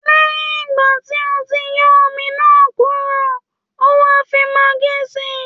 Lẹ́yìn ìgbà tí o ti yọ́ omi náà kúrò, ó wà fi maggi sí